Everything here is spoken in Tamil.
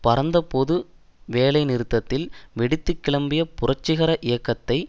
பரந்த பொது வேலைநிறுத்தத்தில் வெடித்து கிளம்பிய புரட்சிகர இயக்கத்தை